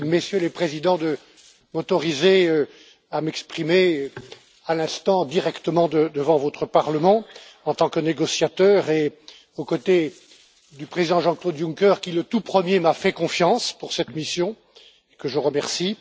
Merci, Messieurs les Présidents, de m'autoriser à m'exprimer aujourd'hui directement devant votre Parlement, en tant que négociateur et aux côtés du Président Jean Claude Juncker qui, le tout premier, m'a fait confiance pour cette mission, et que je remercie.